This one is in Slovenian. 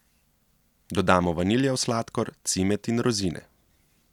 Dodamo vaniljev sladkor, cimet in rozine.